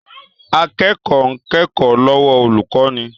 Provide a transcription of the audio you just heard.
Akẹ́kọ̀ọ́ ń kẹ́kọ̀ọ́ lọ́wọ́ olùkọ́ni